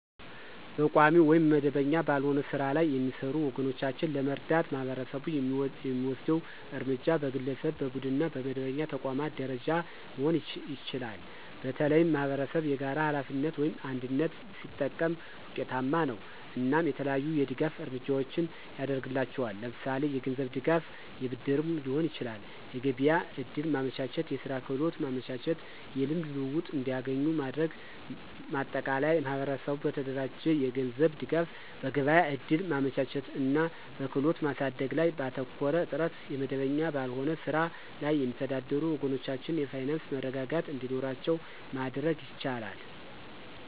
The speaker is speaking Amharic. በቋሚ ወይም መደበኛ ባልሆነ ሥራ ላይ የሚሰሩ ወገኖቻችንን ለመርዳት ማህበረሰቡ የሚወስደው እርምጃ በግለሰብ፣ በቡድንና በመደበኛ ተቋማት ደረጃ መሆን ይችላል። በተለይም ማኅበረሰብ የጋራ ሀላፊነትን (አንድነት) ሲጠቀም ውጤታማ ነው። እናም የተለያዩ የድጋፍ እርምጃዎችን ያድርግላቸዋል ለምሳሌ የገንዝብ ድጋፍ የብድርም ሊሆን ይችላል። የገቢያ ዕድል ማመቻቸት፣ የስራ ክህሎት ማመቻቸት። የልምድ ልውውጥ እንዲገኙ ማድረግ። ማጠቃለያ ማህበረሰቡ በተደራጀ የገንዘብ ድጋፍ፣ በገበያ እድል ማመቻቸት እና በክህሎት ማሳደግ ላይ ባተኮረ ጥረት የመደበኛ ባልሆነ ስራ ላይ የሚተዳደሩ ወገኖቻችን የፋይናንስ መረጋጋት እንዲኖራቸው ማድረግ ይቻላል።